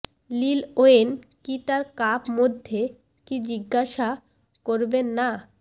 লিল ওয়েন কি তার কাপ মধ্যে কি জিজ্ঞাসা করবেন না